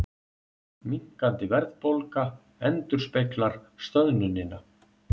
Minnkandi verðbólga endurspeglar stöðnunina